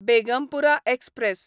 Begumpura express